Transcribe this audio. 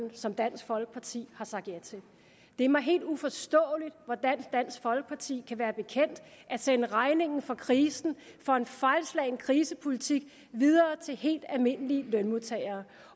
som dansk folkeparti har sagt ja til det er mig helt uforståeligt hvordan dansk folkeparti vil være bekendt at sende regningen for krisen for en fejlslagen krisepolitik videre til helt almindelige lønmodtagere